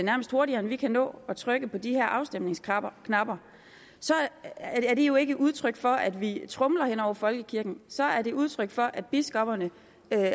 nærmest hurtigere end vi kan nå at trykke på de her afstemningsknapper så er det jo ikke et udtryk for at vi tromler hen over folkekirken så er det et udtryk for at biskopperne